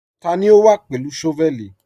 Tani o wá pẹ̀lú shọ́vẹ̀lì?